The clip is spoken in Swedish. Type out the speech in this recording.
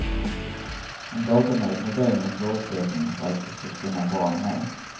En dator med ett modem är förutsättningen för att du ska kunna vara med.